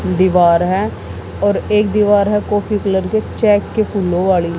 दीवार है और एक दीवार है कॉफी कलर के चेक के फूलों वाली।